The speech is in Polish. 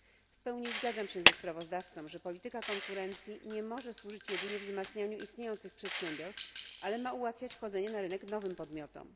W pełni zgadzam się z sprawozdawcą, że polityka konkurencji nie może służyć jedynie wzmacnianiu istniejących przedsiębiorstw, ale ma ułatwiać wchodzenie na rynek nowym podmiotom.